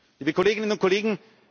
liebe Kolleginnen und Kollegen!